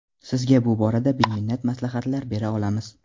Sizga bu borada beminnat maslahatlar bera olamiz.